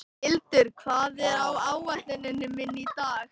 Hildur, hvað er á áætluninni minni í dag?